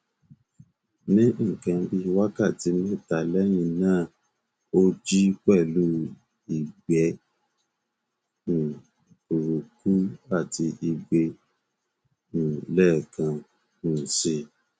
ní nkan bíi wákàtí mẹta lẹyìn náà ó jí pẹlú ìgbẹ um burúkú àti ìgbẹ um lẹẹkan um si